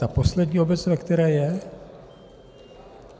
Ta poslední obec, ve které je?